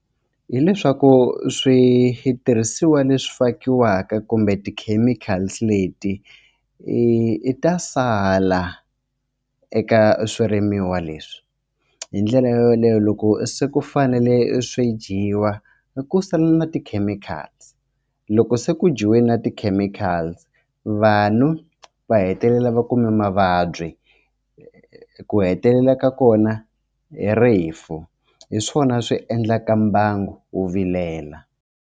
Hi leswaku switirhisiwa leswi fakiwaka kumbe ti-chemicals leti i ta sala eka swirimiwa leswi hi ndlela yoleyo loko se ku fanele swi dyiwa i ku sala na ti-chemicals loko se ku jiwe na ti-chemicals vanhu va hetelela va kume mavabyi ku hetelela ka kona i rifu hi swona swi endlaka mbango wu vilela.